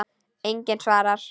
Enginn svarar.